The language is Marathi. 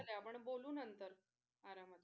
आपण बोलू नंतर आरामात.